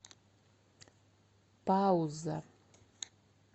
пауза